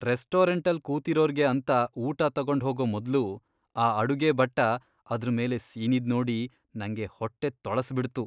ರೆಸ್ಟೋರೆಂಟಲ್ ಕೂತಿರೋರ್ಗೆ ಅಂತ ಊಟ ತಗೊಂಡ್ಹೋಗೋ ಮೊದ್ಲು ಆ ಅಡುಗೆ ಭಟ್ಟ ಅದ್ರ್ ಮೇಲೆ ಸೀನಿದ್ ನೋಡಿ ನಂಗೆ ಹೊಟ್ಟೆ ತೊಳಸ್ಬಿಡ್ತು.